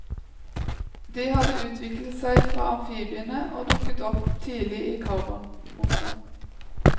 De hadde utviklet seg fra amfibiene og dukket opp tidlig i karbon. punktum